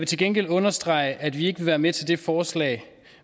til gengæld understrege at vi ikke vil være med til det forslag